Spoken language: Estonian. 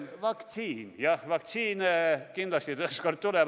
Vaktsiin, jah, vaktsiin kindlasti ükskord tuleb.